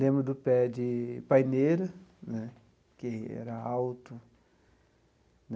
Lembro do pé de paineira né, que era alto.